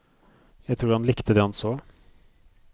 Jeg tror han likte det han så.